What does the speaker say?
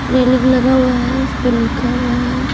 Railing लगा हुआ है और उसपे लिखा हुआ है।